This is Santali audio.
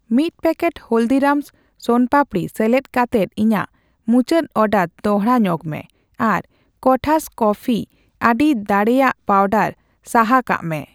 ᱢᱤᱛ ᱯᱮᱠᱮᱴ ᱦᱚᱞᱫᱤᱨᱟᱢᱥ ᱥᱳᱱᱟ ᱯᱟᱯᱫᱤ ᱥᱮᱞᱮᱫ ᱠᱟᱛᱮᱫ ᱤᱧᱟᱜ ᱢᱩᱪᱟᱹᱰ ᱚᱰᱟᱨ ᱫᱚᱲᱦᱟ ᱧᱚᱜᱢᱮ ᱟᱨ ᱠᱚᱴᱷᱟᱥ ᱠᱚᱯᱯᱷᱤᱤ ᱟᱹᱰᱤ ᱫᱟᱲᱮᱭᱟᱜ ᱯᱟᱣᱰᱟᱨ ᱥᱟᱦᱟ ᱠᱟᱜ ᱢᱮ ᱾